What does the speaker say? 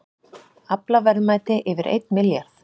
Aflaverðmæti yfir einn milljarð